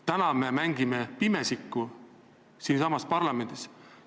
Täna me mängime siinsamas parlamendis pimesikku.